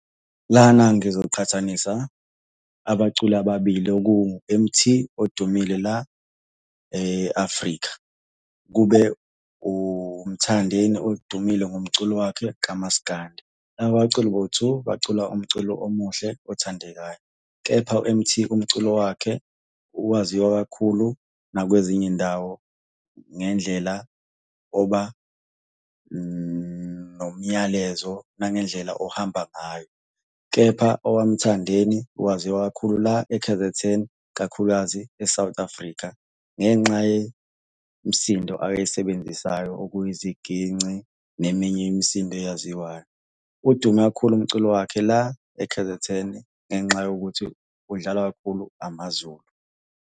Lana ngizoqhathanisa abaculi ababili, okungu-M_Tee odumile la e-Afrika, kube uMthandeni odumile ngomculo wakhe kamaskandi. Laba baculi bowu-two bacula umculo omuhle othandekayo, kepha u-M_Tee umculo wakhe owaziwa kakhulu nakwezinye iy'ndawo ngendlela oba nomyalezo nangendlela ohamba ngayo, kepha owaMthandeni waziwa kakhulu la e-K_Z_N. Kakhulukazi e-South Africa ngenxa yemisindo ayisebenzisayo okuyiziginci neminye imisindo eyaziwayo. Udume kakhulu umculo wakhe la e-K_Z_N ngenxa yokuthi udlalwa kakhulu amaZulu.